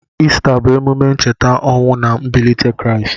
Ista bụ emume ncheta ọnwụ na mbilite Kraịst.